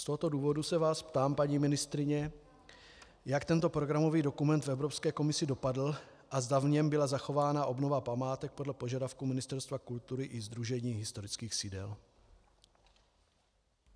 Z tohoto důvodu se vás ptám, paní ministryně, jak tento programový dokument v Evropské komisi dopadl a zda v něm byla zachována obnova památek podle požadavku Ministerstva kultury i Sdružení historických sídel.